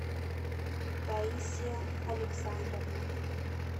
таисия александровна